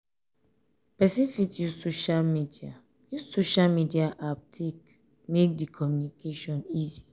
person fit use social media use social media app take make di communication easy